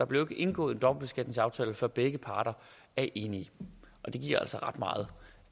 bliver indgået en dobbeltbeskatningsaftale før begge parter er enige og det giver altså ret meget